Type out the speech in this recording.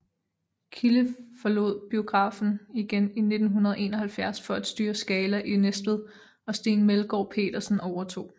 Kilde forlod biografen igen i 1971 for at styre Scala i Næstved og Steen Melgård Petersen overtog